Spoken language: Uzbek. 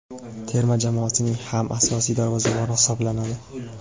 terma jamoasining ham asosiy darvozaboni hisoblanadi.